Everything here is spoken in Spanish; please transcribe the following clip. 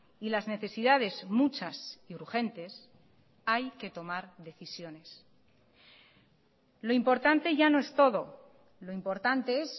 y las necesidades muchas y urgentes hay que tomar decisiones lo importante ya no es todo lo importante es